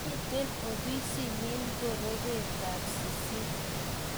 mito ofisit nyin ngorobetab sisit